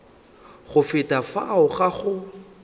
go feta fao ga go